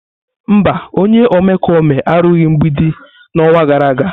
Mba, onye omekome arụghị mgbidi n'ọnwa gara aga.